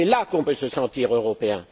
C'est là qu'on peut se sentir européen.